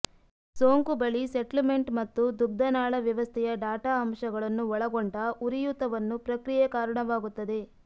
ಸೋಂಕು ಬಳಿ ಸೆಟ್ಲ್ಮೆಂಟ್ ಮತ್ತು ದುಗ್ಧನಾಳ ವ್ಯವಸ್ಥೆಯ ಡಾಟಾ ಅಂಶಗಳನ್ನು ಒಳಗೊಂಡ ಉರಿಯೂತವನ್ನು ಪ್ರಕ್ರಿಯೆ ಕಾರಣವಾಗುತ್ತದೆ